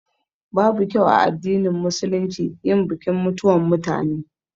Babu kyau a addinin Musulunci yin bikin mutuwan mutane